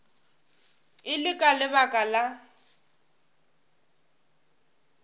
e le ka lebaka la